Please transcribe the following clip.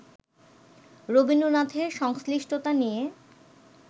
রবীন্দ্রনাথের সংশ্লিষ্টতা নিয়ে